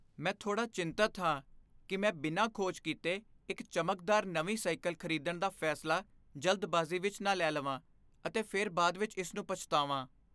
ਮੈਂ ਥੋੜਾ ਚਿੰਤਤ ਹਾਂ ਕਿ ਮੈਂ ਬਿਨਾਂ ਖੋਜ ਕੀਤੇ ਇੱਕ ਚਮਕਦਾਰ ਨਵੀਂ ਸਾਈਕਲ ਖਰੀਦਣ ਦਾ ਫੈਸਲਾ ਜਲਦਬਾਜ਼ੀ ਵਿੱਚ ਨਾ ਲੈ ਲਵਾਂ ਅਤੇ ਫਿਰ ਬਾਅਦ ਵਿੱਚ ਇਸ ਨੂੰ ਪਛਤਾਵਾ।